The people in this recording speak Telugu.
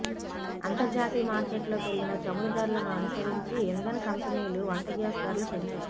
అంతర్జాతీయ మార్కెట్లో పెరిగిన చమురు ధరలను అనుసరించి ఇంధన కంపెనీలు వంటగ్యాస్ ధరలు పెంచాయి